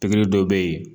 Pikiri dɔ bɛ yen